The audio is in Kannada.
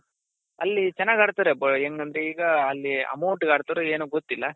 ಅಲ್ಲಿ ಚೆನ್ನಾಗ್ ಆಡ್ತಾರೆ ಹೆಂಗಂದ್ರೆ ಈಗ ಅಲ್ಲಿ amount ಗಾಡ್ತಾರೋ ಏನೋ ಗೊತ್ತಿಲ್ಲ .